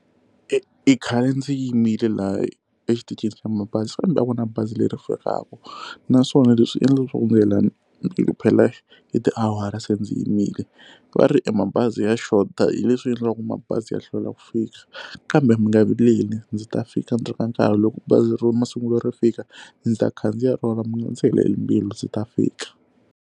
I khale ndzi yimile laha exitichini xa mabazi kambe a ku na bazi leri fikaka naswona leswi endla leswaku phela yi tiawara se ndzi yimile va ri e mabazi ya xota hi leswi endlaka ku mabazi ya hlwela ku fika kambe mi nga vileli ndzi ta fika endzaku ka nkarhi loko bazi ra masungulo ri fika ndzi ta khandziya rona mi nga ndzi heleli mbilu ndzi ta fika.